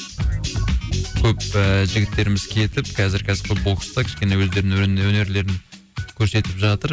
көп ііі жігіттеріміз кетіп кәзір кәсіпқой бокста кішкене өздерінің өнерлерін көрсетіп жатыр